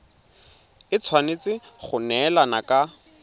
e tshwanetse go neelana ka